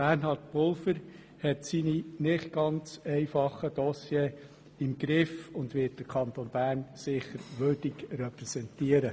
Bernhard Pulver hat seine nicht ganz einfachen Dossiers im Griff und wird den Kanton Bern sicher würdig repräsentieren.